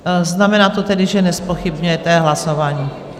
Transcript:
Znamená to tedy, že nezpochybňujete hlasování?